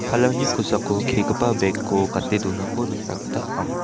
palangni kosako kegipa bek ko gate donako nikna gita ama.